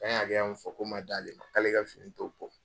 K'an ye hakɛya min fɔ k'o man d'ale ma k'ale ka fini t'o bɔ.